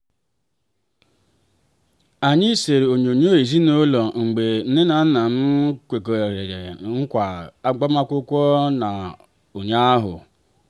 anyị sere onyonyoo ezinụlọ mgbe nne na nna m kwegharịrị nkwa agbamakwụkwọ ha ụnyaahụ.